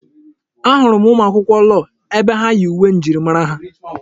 Ahụrụ m ụmụ akwụkwọ lọọ ebe ha yi uwe njirimara ha.